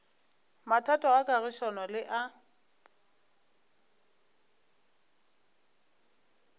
mathata a kagišano le a